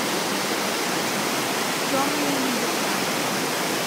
темные небеса